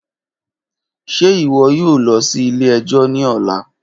Ṣe iwọ yoo lọ si ile-ẹjọ ni ọla?